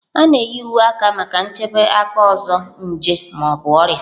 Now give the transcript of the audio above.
A na-eyi uwe aka maka nchebe aka ọzọ nje ma ọ bụ ọrịa.